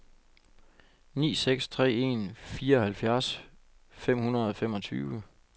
ni seks tre en fireoghalvfjerds fem hundrede og femogtyve